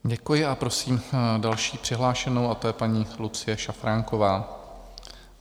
Děkuji a prosím další přihlášenou, a tou je paní Lucie Šafránková.